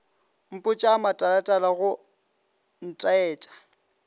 mpotša a matalatala go ntaetša